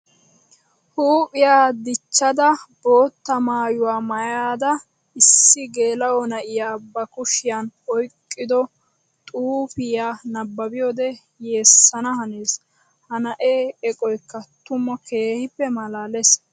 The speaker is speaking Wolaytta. Huuphiya dichadda bootta maayuwa maayada issi geela'o na'iya ba kushiyan oyqqiddo xuufiya nababbiyode yeesanaa hanees. Ha na'ee eqqoykka tuma keehippe malaales.